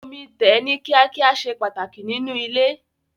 Omi tẹ̀ ní kíá kíá ṣe pàtàkì nínú ilé.